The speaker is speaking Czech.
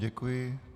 Děkuji.